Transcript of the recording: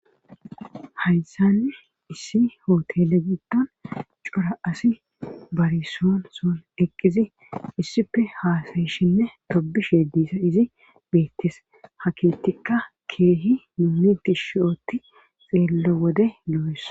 Haysanni issi hootele giddon cora asi barisoon soon eqqizi issife haasayishinne tobish hyedisa izi beettis hakeettikka keehi nuumiti shiooti xeello wode lo'esa